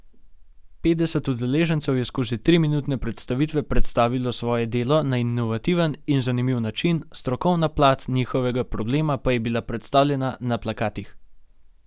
Petdeset udeležencev je skozi triminutne predstavitve predstavilo svoje delo na inovativen in zanimiv način, strokovna plat njihovega problema pa je bila predstavljena na plakatih.